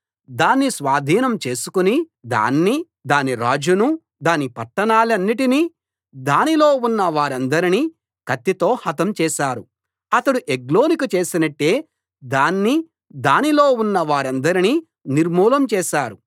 దాన్ని స్వాధీనం చేసుకుని దాన్నీ దాని రాజునూ దాని పట్టణాలన్నిటినీ దానిలో ఉన్న వారందరినీ కత్తితో హతం చేశారు అతడు ఎగ్లోనుకు చేసినట్టే దాన్నీ దానిలో ఉన్న వారందరినీ నిర్మూలం చేశారు